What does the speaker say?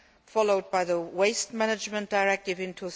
followed by the Waste Management Directive in